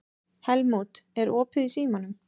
Helmút, er opið í Símanum?